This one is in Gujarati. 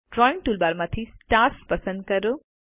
ડ્રાઇંગ ટૂલબારમાંથી સ્ટાર્સ પસંદ કરો